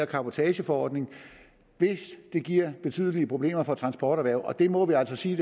cabotageforordningen hvis den giver betydelige problemer for transporterhvervet og det må vi altså sige